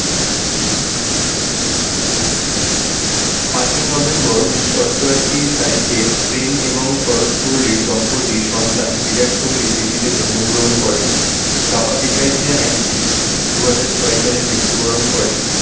পাঁচই november উনিশশো অষ্টাশি তারিখে প্রেম এবং সরোজ কোহলি দম্পতির সন্তান বিরাট কোহলি দিল্লিতে জন্মগ্রহণ করেন বাবা পেশায় ছিলেন আইনজীবী। দুহাজার ছয় সালে মৃত্যুবরণ করেন।